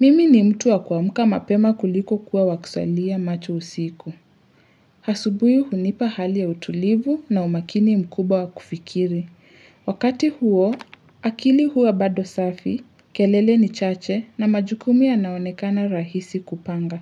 Mimi ni mtu wa kwa muka mapema kuliko kuwa wakusalia macho usiku. Asubuhi hunipa hali ya utulivu na umakini mkubwa wa kufikiri. Wakati huo, akili huwa bado safi, kelele ni chache na majukumu yanaonekana rahisi kupanga.